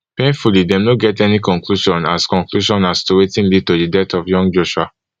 painfully dem no get any conclusion as conclusion as to wetin lead to di death of young joshua